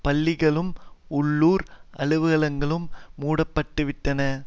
பள்ளிகளும் உள்ளூர் அலுவலகங்களும் மூட பட்டுவிட்டன